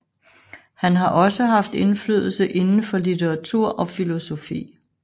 Han har også haft indflydelse inden for litteratur og filosofi